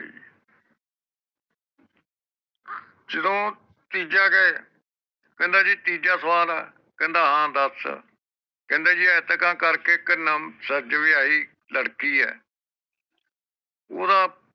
ਜਿਦੋਂ ਤੀਜਾ ਕਹੇ ਕਹਿੰਦਾ ਜੀ ਤੀਜਾ ਸਵਾਲ ਏ ਕਹਿੰਦਾ ਹਾਂ ਦਸ ਕਹਿੰਦੇ ਇੰਟਕਾ ਕਰਕੇ ਇਕ ਨਵੀ ਸਾਜ ਵਿਆਹੀ ਲੜਕੀ ਏ ਓਹਦਾ